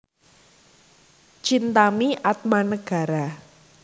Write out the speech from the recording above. Chintami Atmanegara